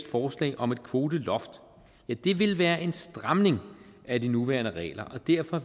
forslag om et kvoteloft vil være en stramning af de nuværende regler og derfor